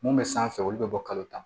Mun bɛ sanfɛ olu bɛ bɔ kalo tan